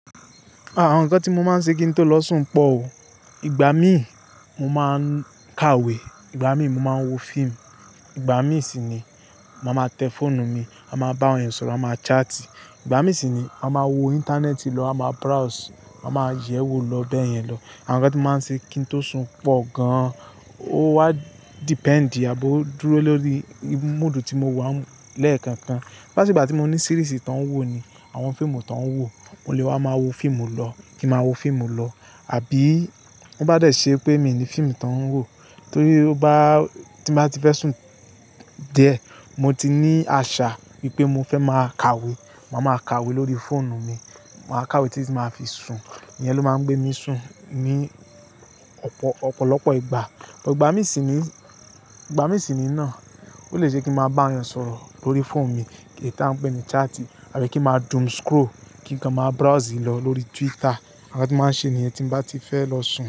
Àwọn nǹkan tí mo máa ń ṣe kí n tó lọ sùn pọ̀ o. Ìgbà míì mo máa ń ka ìwé, ìgbà míì mo máa ń wo fíìmù, ìgbà mí sì ni màá máa tẹ fóònù mi, à máa bá ọ̀rẹ́ sọ̀rọ̀, à máa chat, ìgbà mí sì ni à máa wo íńtánẹ́ẹ̀tì lọ, à máa browse, à máa yẹ̀wò lọ bẹ́ẹ̀ yẹn lọ. Àwọn nǹkan tí màá ń ṣe kí n tó sùn pọ̀ gan-an. Ó wá dependi, àbí ó dúró lórí moodu tí mo wà lẹ́ẹ̀kọ̀ọ̀kan. Bá ṣe ìgbà tí mo ní series tó ń wò ni, àwọn fíìmù tó ń wò, mo lè wá máa wo fíìmù lọ, kí màá wo fíìmù lọ. Àbí bó bá dẹ̀ ṣé pé mi ni fíìmù tó ń wò, tí ó bá-- tí n bá ti fẹ́ sùn díẹ̀, mo ti ní àṣà wípé mo fẹ́ máa ka ìwé, màá máa ka ìwé lórí fóònù mi. Màá ka ìwé tí tí máa fi sùn. Iyẹn ló máa ń gbé mi sùn ní ọ̀pọ̀, ọ̀pọ̀lọpọ̀ ìgbà. Ìgbà mí sì ní, ìgbà mí sì ní náà, ó lè ṣe kín màá bá àwọn ènìyàn sọ̀rọ̀ lórí fóònù mi, èyí ta ń pè ní chat àbí kí màá doom scroll, kí n máa browse lọ lórí Twitter. Àwọn nǹkan tí màá ń ṣe níyẹn tí n bá ti fẹ́ lọ sùn.